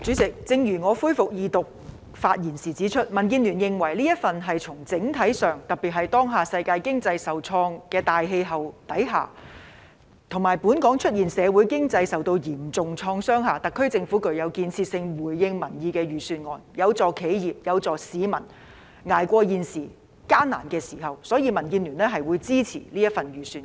主席，正如我在《條例草案》恢復二讀辯論的發言中指出，民主建港協進聯盟認為，整體而言，特別是當下世界經濟受創的大氣候之下，以及本港社會經濟受到嚴重創傷的情況下，特區政府這份財政預算案具建設性，而且回應民意，有助企業、市民捱過現在的艱難時間，所以民建聯會支持這份預算案。